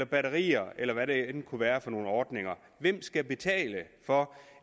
batterier eller hvad der end kunne være for nogle ordninger hvem skal betale for